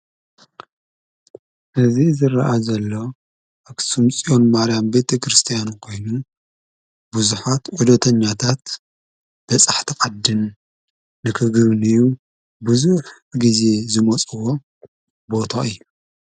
እዚ ዝርአ ዘሎ ኣኽሱም ፅዮን ማርያም ቤተ ክርስቲያን ኮይኑ ብዙሓት ዑደተኛታትን በፃሕቲ ዓድን ንክጉብንዩ ብዙሕ ግዜ ዝመፁዎ ቦታ እዩ፡፡